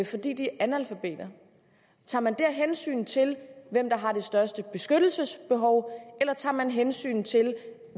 fordi de er analfabeter tager man der hensyn til hvem der har det største beskyttelsesbehov eller tager man hensyn til